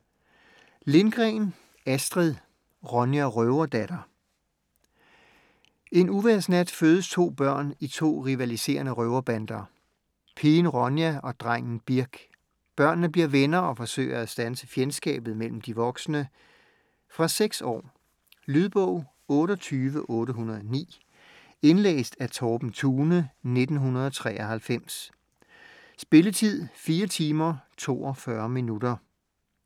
Lindgren, Astrid: Ronja røverdatter En uvejrsnat fødes 2 børn i 2 rivaliserende røverbander: pigen Ronja og drengen Birk. Børnene bliver venner og forsøger at standse fjendskabet mellem de voksne. Fra 6 år. Lydbog 28809 Indlæst af Torben Thune, 1993. Spilletid: 4 timer, 42 minutter.